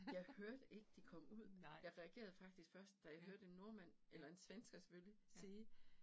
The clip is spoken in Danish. Jeg hørte ikke, de kom ud. Jeg reagerede faktisk først, da jeg hørte en nordmand eller en svensker selvfølgelig sige